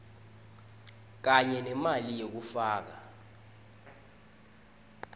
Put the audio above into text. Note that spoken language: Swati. kanye nemali yekufaka